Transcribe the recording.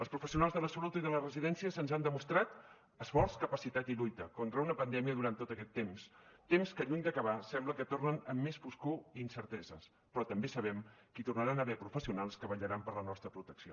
els professionals de la salut i de les residències ens han demostrat esforç capacitat i lluita contra una pandèmia durant tot aquest temps temps que lluny d’acabar sembla que tornen amb més foscor i incerteses però també sabem que hi tornaran a haver professionals que vetllaran per la nostra protecció